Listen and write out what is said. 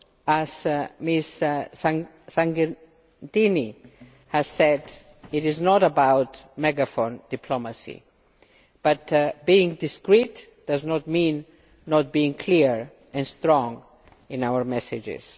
As Ms Sargentini has said, it is not about megaphone diplomacy, but being discreet does not mean not being clear and strong in our messages.